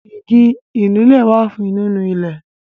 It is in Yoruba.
Igi Ìnulẹ̀ wá fún nínú ilẹ̀